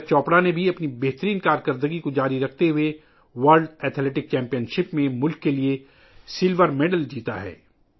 نیرج چوپڑا نے بھی اپنی شاندار کارکردگی کو جاری رکھتے ہوئے عالمی ایتھلیٹکس چیمپئن شپ میں ملک کے لئے چاندی کا تمغہ جیتا ہے